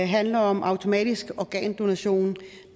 handler om automatisk organdonation